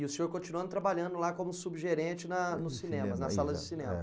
E o senhor continuando trabalhando lá como subgerente na nos cinemas, nas salas de cinema? É.